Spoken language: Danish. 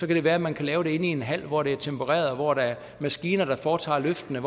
det være at man kan lave det inde i en hal hvor der er tempereret og hvor der er maskiner der foretager løftene